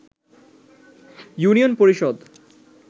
union Parishad